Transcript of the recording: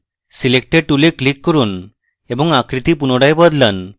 selector tool click করুন এবং আকৃতি পুনরায় বদলান